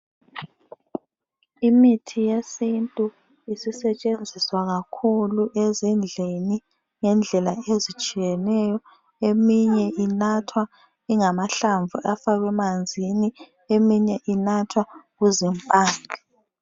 Imithi yesintu isisetshenziswa kakhulu ezindlini ngendlela ezitshiyeneyo, eminye inathwa ingamahlamvu afakwe emanzini eminye inathwa kuzimpande